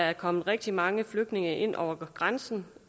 er kommet rigtig mange flygtninge ind over grænsen